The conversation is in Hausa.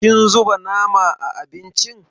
Kin zuba nama a abincin?